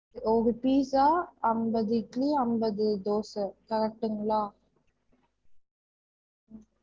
ஒரு pizza அம்பது இட்லி அம்பது தோச correct ங்களா?